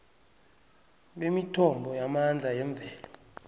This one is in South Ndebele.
bemithombo yamandla yemvelo